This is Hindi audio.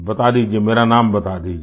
बता दीजिये मेरा नाम बता दीजिये